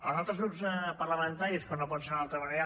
als altres grups parlamentaris com no pot ser d’una altra manera